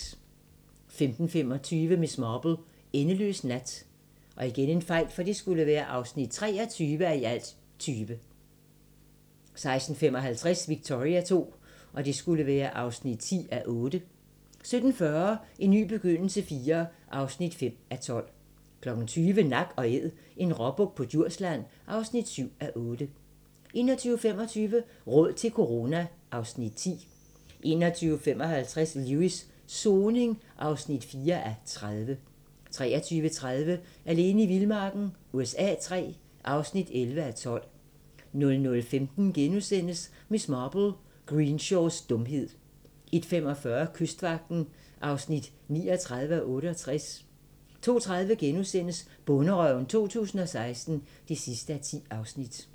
15:25: Miss Marple: Endeløs nat (23:20) 16:55: Victoria II (10:8) 17:40: En ny begyndelse IV (5:12) 20:00: Nak & Æd - en råbuk på Djursland (7:8) 21:25: Råd til corona (Afs. 10) 21:55: Lewis: Soning (4:30) 23:30: Alene i vildmarken USA III (11:12) 00:15: Miss Marple: Greenshaws dumhed * 01:45: Kystvagten (39:68) 02:30: Bonderøven 2016 (10:10)*